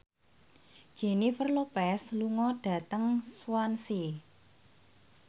Jennifer Lopez lunga dhateng Swansea